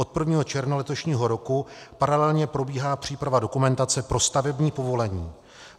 Od 1. června letošního roku paralelně probíhá příprava dokumentace pro stavební povolení.